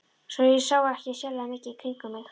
Svo ég sá ekki sérlega mikið í kringum mig.